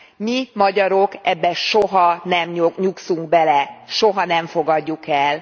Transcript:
Mi, magyarok ebbe soha nem nyugszunk bele, soha nem fogadjuk el.